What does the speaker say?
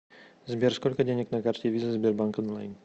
сбер сколько денег на карте виза сбербанк онлайн